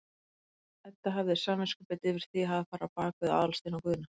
Edda hafði samviskubit yfir því að hafa farið á bak við Aðalstein og Guðna.